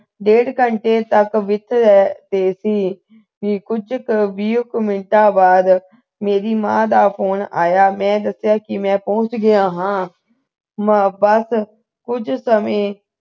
ਡੇਢ ਘੰਟੇ ਤੱਕ ਵਿਚ ਏਹ ਤਹਿ ਸੀ ਤੇ ਕੁਝ ਵੀਹ ਮਿੰਟਾਂ ਬਾਅਦ ਮੇਰੀ ਮਾਂ ਦਾ ਫੋਨ ਆਇਆ ਮੈਂ ਦੱਸਿਆ ਮੈਂ ਪਹੁੰਚ ਗਿਆ ਹਾਂ ਮੈਂ ਬੱਸ ਕੁੱਝ ਸਮੇਂ